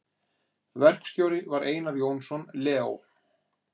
Verkstjóri var Einar Jónsson Leó.